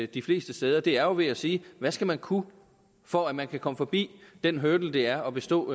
de fleste steder det er jo ved at sige hvad skal man kunne for at man kan komme forbi den hurdle det er at bestå